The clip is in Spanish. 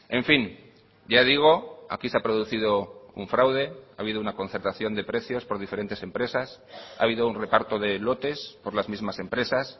en fin ya digo aquí se ha producido un fraude ha habido una concertación de precios por diferentes empresas ha habido un reparto de lotes por las mismas empresas